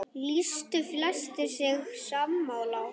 Lýstu flestir sig sammála honum.